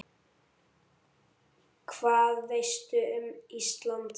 Hvað veistu um Ísland?